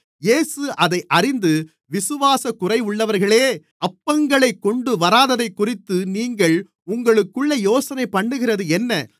இயேசு அதை அறிந்து விசுவாசக்குறைவுள்ளவர்களே அப்பங்களைக் கொண்டுவராததைக்குறித்து நீங்கள் உங்களுக்குள்ளே யோசனைபண்ணுகிறதென்ன